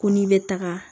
Ko n'i bɛ taga